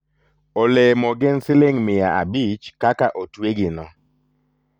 olemo gi gin siling' miya abich kaka otwegino